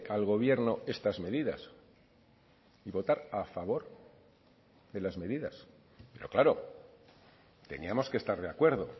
al gobierno estas medidas y votar a favor de las medidas pero claro teníamos que estar de acuerdo